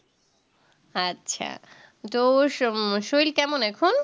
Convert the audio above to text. আচ্ছা তো ওই শরীর কেমন এখন